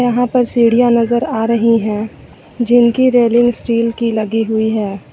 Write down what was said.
यहां पर सीढ़ियां नज़र आ रही हैं जिनकी रेलिंग स्टील की लगी हुई है।